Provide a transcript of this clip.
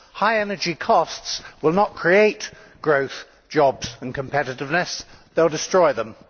High energy costs will not create growth, jobs and competitiveness, they will destroy them.